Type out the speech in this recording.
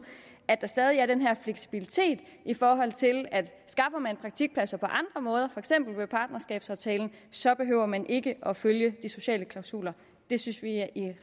at der stadig er fleksibilitet i forhold til at skaffer man praktikpladser på andre måder for eksempel ved partnerskabsaftalen så behøver man ikke at følge de sociale klausuler det synes vi i